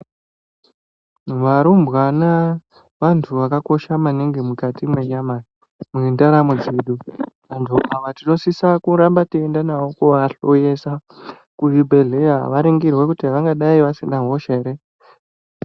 Varumbwana vantu vakakosha maningi mukati mwenyama mwendaramo dzedu vantu ava tinosisa kuramba teienda navo kuvahloyesa kuzvibhedhleya varingirwe kuti vangadai vasina hosha here.